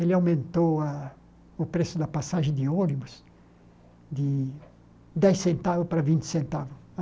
ele aumentou a o preço da passagem de ônibus de dez centavos para vinte centavos.